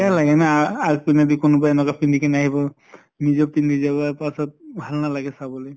বেয়া লাগে না আ আকৌ যদি কোনোবাই এনকা পিন্ধি কেনে আহিব, নিজেও পিন্ধি যাবা তাছত ভাল নালাগে চাবলে।